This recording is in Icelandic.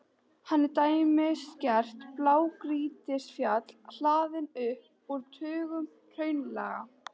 Hann er dæmigert blágrýtisfjall, hlaðinn upp úr tugum hraunlaga.